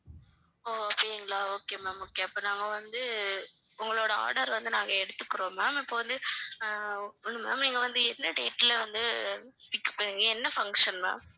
ஓ சரிங்களா okay ma'am okay அப்ப நாங்க வந்து உங்களோட order வந்து நாங்க எடுத்துக்குறோம் ma'am இப்ப வந்து ஆஹ் வந்து ma'am இங்க வந்து எந்த date ல வந்து என்ன function ma'am